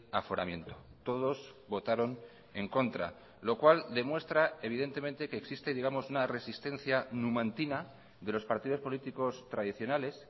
aforamiento todos votaron en contra lo cual demuestra evidentemente que existe digamos una resistencia numantina de los partidos políticos tradicionales